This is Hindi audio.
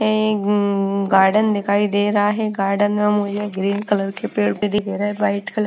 ए उम गार्डन दिखाई दे रहा है गार्डन में मुझे ग्रीन कलर के पेड़ भी दिख रहे हैं वाइट कलर --